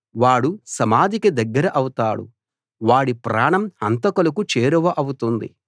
వాడు సమాధికి దగ్గర అవుతాడు వాడి ప్రాణం హంతకులకు చేరువ అవుతుంది